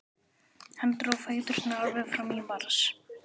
Hann dró fæturna alveg fram í mars.